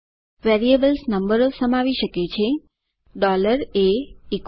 variables નંબરો સમાવી શકે છે a100